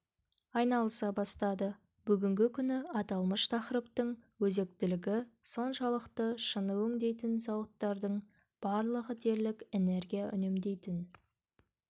айналыса бастады бүгінгі күні аталмыш тақырыптың өзектілігі соншалықты шыны өңдейтін зауыттардың барлығы дерлік энергия үнемдейтін